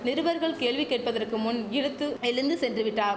நிருபர்கள் கேள்வி கேட்பதற்கு முன் இறுத்து எழுந்து சென்றுவிட்டார்